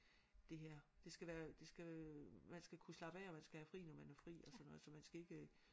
Det her det skal være det skal man skal kunne slappe af og man skal have fri når man har fri og sådan noget så man skal ikke